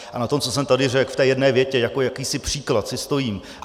A na tom, co jsem tady řekl v té jedné větě jako jakýsi příklad, si stojím.